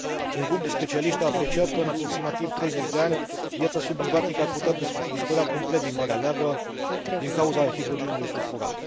Un grup de specialiști a apreciat că, în aproximativ 30 de ani, viața subacvatică ar putea dispărea complet din Marea Neagră din cauza hidrogenului sulfurat.